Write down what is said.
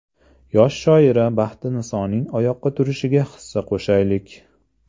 Yosh shoira Baxtinisoning oyoqqa turishiga hissa qo‘shaylik!.